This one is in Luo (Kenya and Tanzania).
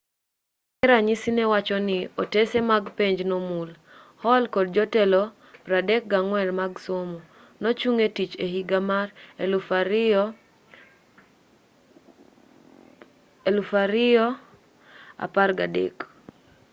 bang'e ranyisi newacho ni otese mag penj nomul hall kod jotelo 34 mag somo nochung etich ehiga mar 2013